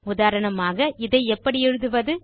உதாரணமாக இதை எப்படி எழுதுவது